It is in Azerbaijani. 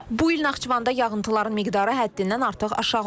Bu il Naxçıvanda yağıntıların miqdarı həddindən artıq aşağı olub.